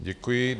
Děkuji.